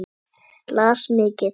Las mikið.